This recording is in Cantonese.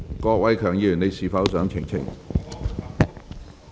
郭偉强議員，你是否想澄清？